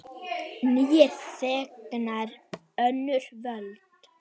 Nýir þegnar, önnur völd.